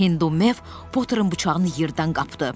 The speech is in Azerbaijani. Hindumev Poturun bıçağını yerdən qapdı.